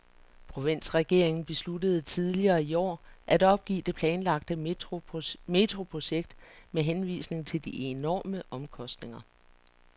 Provinsregeringen besluttede tidligere i år at opgive det planlagte metroprojekt med henvisning til de enorme omkostninger.